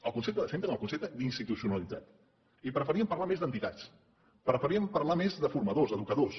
el concepte de centre en el concepte d’institucionalitat i preferíem parlar més d’ entitats preferíem parlar més de formadors d’ educadors